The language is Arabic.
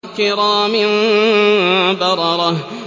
كِرَامٍ بَرَرَةٍ